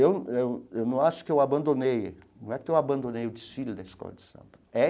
Eu não eu eu não acho que eu abandonei... Não é que eu abandonei o desfile da escola de samba é.